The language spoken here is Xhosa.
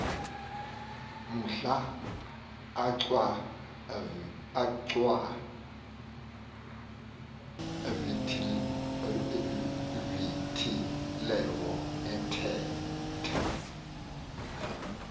mhla achwavitilevo ethetha